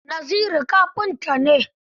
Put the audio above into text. Naziru kafinta ne.